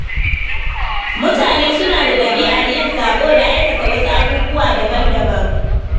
Mutane suna da ɗabi'ar yin sabo da aikata wasu abubuwa daban-daban.